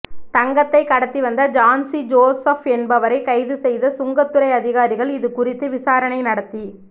தங்கத்தை கடத்தி வந்த ஜான்சி ஜோசப் என்பவரை கைது செய்த சுங்கத்துறை அதிகாரிகள் இதுகுறித்து விசாரணை நடத்தி